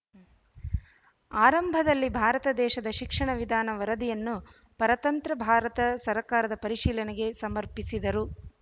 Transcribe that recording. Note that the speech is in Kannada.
ಆರಂಭದಲ್ಲಿ ಭಾರತ ದೇಶದ ಶಿಕ್ಷಣ ವಿಧಾನ ವರದಿಯನ್ನು ಪರತಂತ್ರ ಭಾರತ ಸರಕಾರದ ಪರಿಶೀಲನೆಗೆ ಸಮರ್ಪಿಸಿದರು